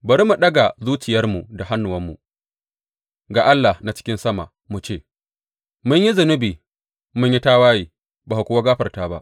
Bari mu ɗaga zuciyarmu da hannuwanmu ga Allah na cikin sama, mu ce, Mun yi zunubi mun yi tawaye ba ka kuwa gafarta ba.